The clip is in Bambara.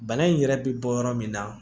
Bana in yɛrɛ bɛ bɔ yɔrɔ min na